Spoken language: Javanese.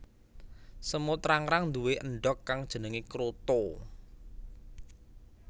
Semut rangrang nduwe endhog kang jenengé kroto